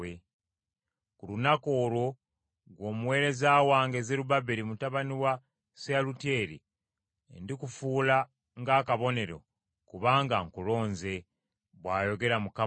“ ‘Ku lunaku olwo, ggwe omuweereza wange Zerubbaberi mutabani wa Seyalutyeri, ndikufuula ng’akabonero, kubanga nkulonze,’ bw’ayogera Mukama ow’Eggye.”